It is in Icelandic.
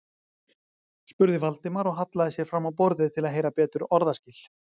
spurði Valdimar og hallaði sér fram á borðið til að heyra betur orðaskil.